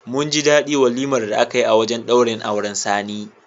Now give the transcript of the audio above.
Mun ji daɗi walimar da aka yi a wajen ɗaurin auren Sani.